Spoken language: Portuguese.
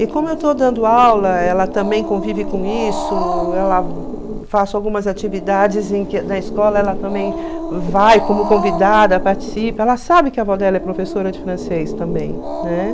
E como eu estou dando aula, ela também convive com isso, ela faço algumas atividades em que na escola, ela também vai como convidada, participa, ela sabe que a avó dela é professora de francês também, né?